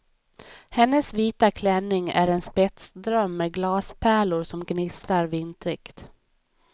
Hennes vita klänning är en spetsdröm med glaspärlor som gnistrar vintrigt.